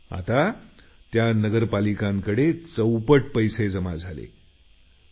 आता त्या नगरपालिकांकडे जवळपास चौपट पैसा जमा झाला आहे